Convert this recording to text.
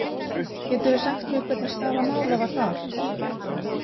Geturðu sagt mér hvernig staða mála var þar?